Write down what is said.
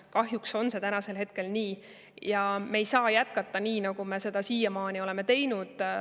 Kahjuks on see praegu nii ja me ei saa jätkata nii, nagu me siiani oleme teinud.